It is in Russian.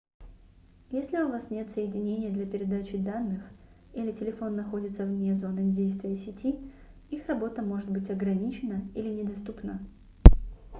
если у вас нет соединения для передачи данных или телефон находится вне зоны действия сети их работа может быть ограничена или недоступна